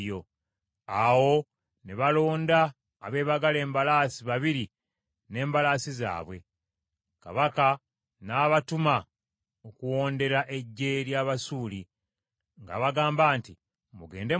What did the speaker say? Awo ne balonda abeebagala embalaasi babiri n’embalaasi zaabwe, kabaka n’abatuma okuwondera eggye ly’Abasuuli, ng’abagamba nti, “Mugende mulabe.”